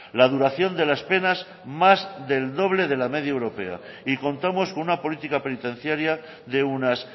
la duración de las penas más del doble de la media europea y contamos con una política penitenciaria de unas